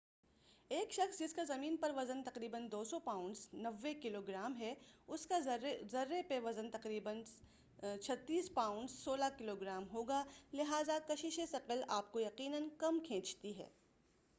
ایک شخص جسکا زمین پر وزن تقریبا 200 پاونڈز 90 کلوگرام ہے اسکا ذرہ پر وزن تقریبا 36 پاونڈز 16 کلوگرام ہوگا- لہٰذا کَشِشِ ثَقَل آپکو یقینا کم کھینچتی ہے-